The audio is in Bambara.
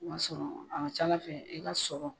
I m'a sɔrɔn a ka ca Ala fɛ i ka sɔrɔ